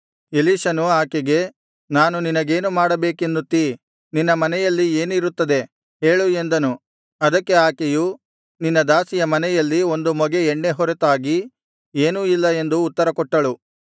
ಎಲೀಷನು ಆಕೆಗೆ ನಾನು ನಿನಗೇನು ಮಾಡಬೇಕೆನ್ನುತ್ತೀ ನಿನ್ನ ಮನೆಯಲ್ಲಿ ಏನಿರುತ್ತದೆ ಹೇಳು ಎಂದನು ಅದಕ್ಕೆ ಆಕೆಯು ನಿನ್ನ ದಾಸಿಯ ಮನೆಯಲ್ಲಿ ಒಂದು ಮೊಗೆ ಎಣ್ಣೆ ಹೊರತಾಗಿ ಏನೂ ಇಲ್ಲ ಎಂದು ಉತ್ತರ ಕೊಟ್ಟಳು